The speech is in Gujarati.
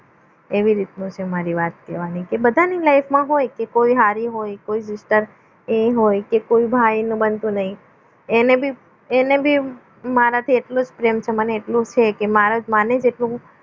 એવી રીતનું છે મારી વાત કહેવાની એ બધાને life મા હોય તો એ હારી હોય કોઈ એ હોય કે કોઈ ભાઈનું બનતું નથી એને ભી એને ભી મારાથી એટલું જ પ્રેમ છે મને એટલું છે કે માણસ માને જેટલું